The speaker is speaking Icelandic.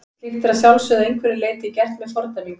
Slíkt er að sjálfsögðu að einhverju leyti gert með fordæmingu.